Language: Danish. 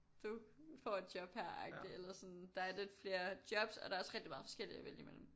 Du får et job her agtig eller sådan der er lidt flere jobs og der er også rigtig meget forskelligt at vælge imellem